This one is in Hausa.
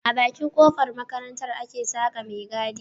A Bakin kofar makaranta ake Saka me gadi